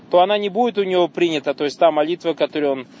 то она не будет у него принята то есть та молитва которую он